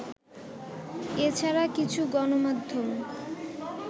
এ ছাড়া কিছু গণমাধ্যম